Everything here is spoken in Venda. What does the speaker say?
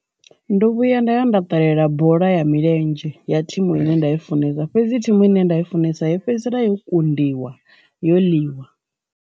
Ndo vhuya nda dovha nda ṱalela bola ya milenzhe ya thimu ine nda i funesa fhedzi thimu ine nda i funesa yo fhedzisela yo kundiwa yo ḽiwa.